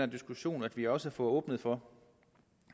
diskussion at vi også får åbnet for